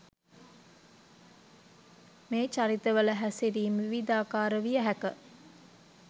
මේ චරිතවල හැසිරීම් විවිධාකාර විය හැක